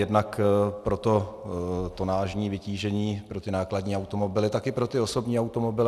Jednak pro to tonážní vytížení pro ty nákladní automobily, tak i pro ty osobní automobily.